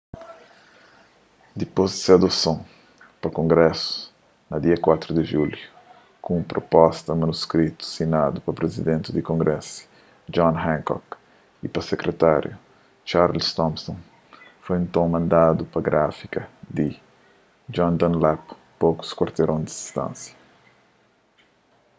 dipôs di se adoson pa kongrésu na da 4 di julhu un pruposta manuskritu sinadu pa prizidenti di kongrésu john hancock y pa sekritáriu charles thomson foi nton mandadu pa gráfika di john dunlap pokus kuarteron di distánsia